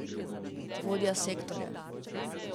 Vodja sektorja.